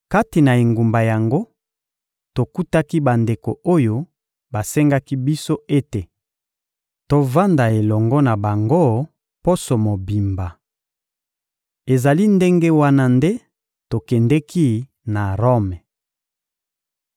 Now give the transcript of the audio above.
Kati na engumba yango, tokutaki bandeko oyo basengaki biso ete tovanda elongo na bango poso mobimba. Ezali ndenge wana nde tokendeki na Rome.